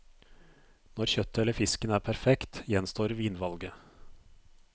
Når kjøttet eller fisken er perfekt, gjenstår vinvalget.